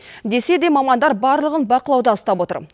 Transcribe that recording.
десе де мамандар барлығын бақылауда ұстап отыр